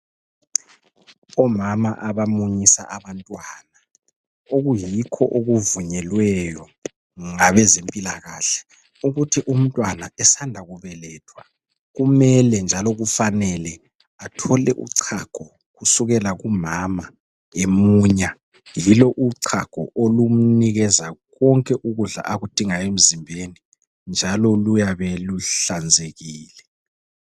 Omama abamunyisa abantwana okuyikho okuvunyelweyo ngabezempilakahle ukuthi umntwana esanda kubelethwa kumele njalo kufanele athole uchago kusukela kumama emunya yilo uchago olumnikeza konke ukudla okudingayo emzimbeni njalo luyabe luhlanzekile.